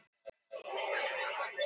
Á kjötmarkaði.